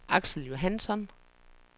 Axel Johansson